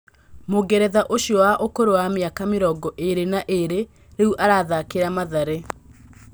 Mũngeretha ũcio wa ũkũrũ wa mĩaka mĩrongo ĩrĩ na ĩrĩ rĩu arathakĩra Mathare